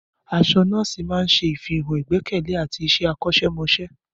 Aṣọ nọ́ọ̀sì máa ń ṣàfihàn ìgbẹ́kẹ̀lé àti iṣẹ́ akọ́ṣẹ́mọṣẹ́.